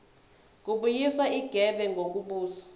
kubuyiswa igebe ngokubuza